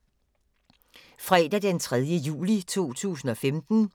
Fredag d. 3. juli 2015